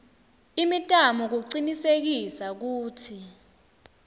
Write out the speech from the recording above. imitamo kucinisekisa kutsi